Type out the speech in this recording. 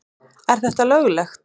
Er þetta löglegt?